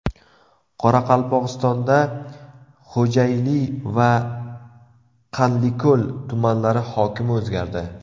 Qoraqalpog‘istonda Xo‘jayli va Qanliko‘l tumanlari hokimi o‘zgardi.